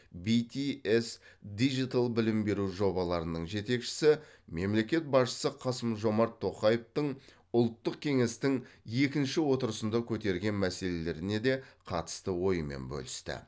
битиэс дижитал білім беру жобаларының жетекшісі мемлекет басшысы қасым жомарт тоқаевтың ұлттық кеңестің екінші отырысында көтерген мәселелеріне де қатысты ойымен бөлісті